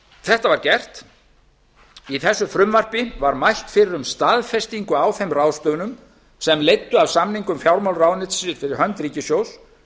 þetta var gert í þessu frumvarpi var mælt fyrir um staðfestingu á þeim ráðstöfunum sem leiddu af samningum fjármálaráðuneytisins fyrir hönd ríkissjóðs